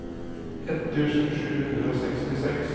ett tusen sju hundre og sekstiseks